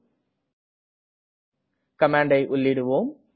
இப்போது கமாண்டை உள்ளீடுவோம்